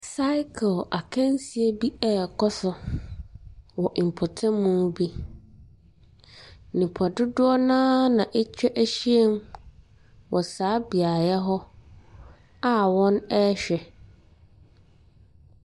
Cycle akansie bi ɛrekɔ so wɔ mpɔtam bi. Nnipa dodoɔ no ara na atwa ahyiam wɔ saa beaeɛ hɔ a wɔrehwɛ.